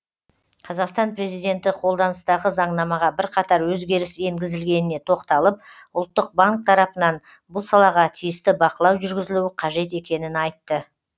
қазақстан президенті қолданыстағы заңнамаға бірқатар өзгеріс енгізілгеніне тоқталып ұлттық банк тарапынан бұл салаға тиісті бақылау жүргізілуі қажет екенін айтты